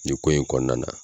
Nin ko in kɔnɔna na.